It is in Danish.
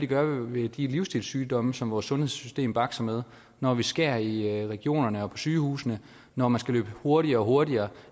gøre ved de livsstilssygdomme som vores sundhedssystem bakser med når vi skærer i regionerne og på sygehusene når man skal løbe hurtigere og hurtigere